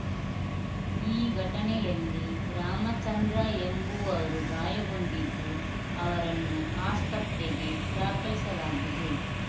ಈ ಘಟನೆಯಲ್ಲಿ ರಾಮಚಂದ್ರ ಎಂಬುವರು ಗಾಯಗೊಂಡಿದ್ದು ಅವರನ್ನು ಆಸ್ಪತ್ರೆಗೆ ದಾಖಲಿಸಲಾಗಿದೆ